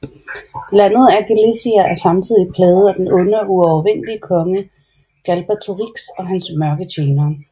Landet Alagaësia er samtidig plaget af den onde og uovervindelige konge Galbatorix og hans mørke tjenere